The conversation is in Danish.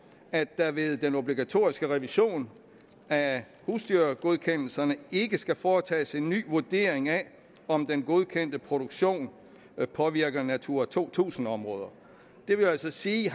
at der ved den obligatoriske revision af husdyrgodkendelserne ikke skal foretages en ny vurdering af om den godkendte produktion påvirker natura to tusind områder det vil altså sige